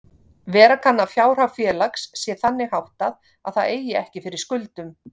Vera kann að fjárhag félags sé þannig háttað að það eigi ekki fyrir skuldum.